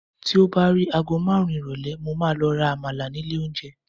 ti o ba ri agọ marun irọlẹ, mo ma lo ra àmàlà ni ilè onje